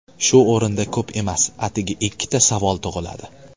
Shu o‘rinda ko‘p emas, atigi ikkita savol tug‘iladi.